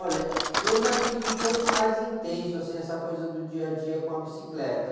Olha, eu já tive um pouco mais intenso, assim, essa coisa do dia a dia com a bicicleta.